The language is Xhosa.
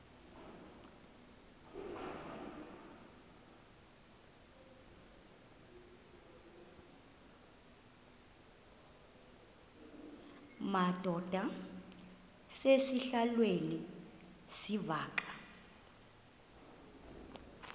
madod asesihialweni sivaqal